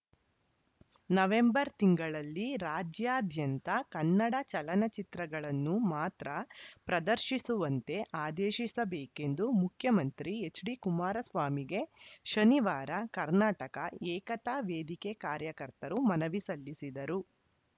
November ತಿಂಗಳಲ್ಲಿ ರಾಜ್ಯಾದ್ಯಂತ ಕನ್ನಡ ಚಲನಚಿತ್ರಗಳನ್ನು ಮಾತ್ರ ಪ್ರದರ್ಶಿಸುವಂತೆ ಆದೇಶಿಸಬೇಕೆಂದು ಮುಖ್ಯಮಂತ್ರಿ ಎಚ್‌ಡಿಕುಮಾರಸ್ವಾಮಿಗೆ ಶನಿವಾರ ಕರ್ನಾಟಕ ಏಕತಾ ವೇದಿಕೆ ಕಾರ್ಯಕರ್ತರು ಮನವಿ ಸಲ್ಲಿಸಿದರು